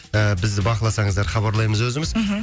ііі бізді бақыласаңыздар хабарлаймыз өзіміз мхм